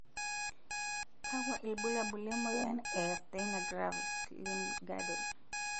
kakua irbulabol le moyian e Myasthenia gravis, limb girdle?